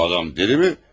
Bu adam dəli mi?